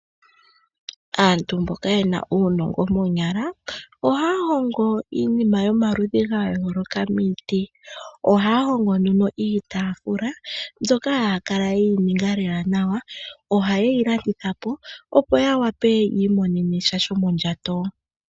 Aantu mboka yena uunongo moonyala, ohaya hongo iinima yomaludhi ga yooloka miiti. Ohaya hongo nduno iitafula mbyoka haya kala yeyi ninga lela nawa, oha yeyi landitha po, opo ya wape yi imonene sha shomondjato.